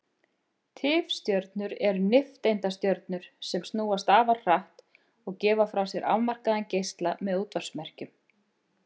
Tifstjörnur eru nifteindastjörnur sem snúast afar hratt og gefa frá sér afmarkaðan geisla með útvarpsmerkjum.